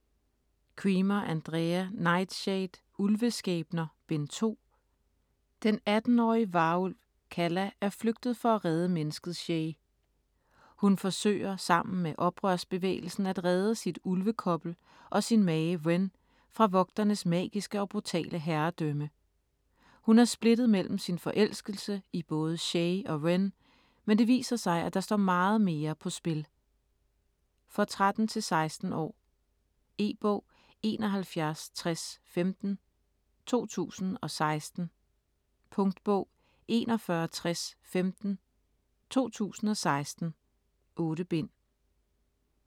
Cremer, Andrea: Nightshade: Ulveskæbner: Bind 2 Den 18-årige varulv Calla, er flygtet for at redde mennesket Shay. Hun forsøger, sammen med oprørsbevægelsen, at redde sit ulvekobbel og sin mage, Ren, fra Vogternes magiske og brutale herredømme. Hun er splittet mellem sin forelskelse i både Shay og Ren, men det viser sig, at der står meget mere på spil. For 13-16 år. E-bog 716015 2016. Punktbog 416015 2016. 8 bind.